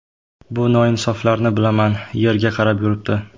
Bu noinsoflarni bilaman, yerga qarab yuribdi.